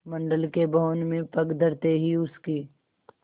मंडल के भवन में पग धरते ही उसकी